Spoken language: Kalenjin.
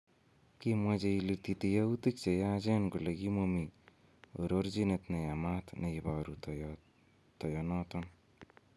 Kimwaa che ilitite yautik che yachen kole kimomi ororchinet ne yamat ne iboru toyonoton